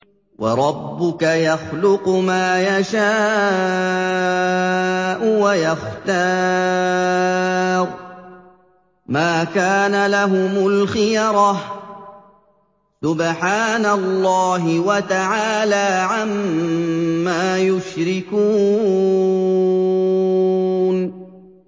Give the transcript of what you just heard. وَرَبُّكَ يَخْلُقُ مَا يَشَاءُ وَيَخْتَارُ ۗ مَا كَانَ لَهُمُ الْخِيَرَةُ ۚ سُبْحَانَ اللَّهِ وَتَعَالَىٰ عَمَّا يُشْرِكُونَ